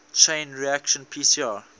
chain reaction pcr